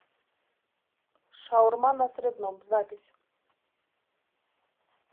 шаурма на средном запись